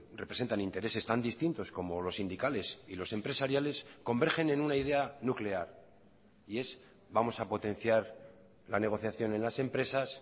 representan intereses tan distintos como los sindicales y los empresariales convergen en una idea nuclear y es vamos a potenciar la negociación en las empresas